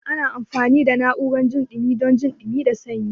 Ana amfani da na'urar jin dumi dan jin dumi da sanyi.